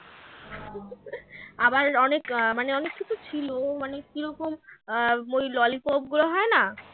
আবার অনেক আহ মানে অনেক কিছু ছিল মানে কী রকম আহ ওই lolly pop গুলো হয় না?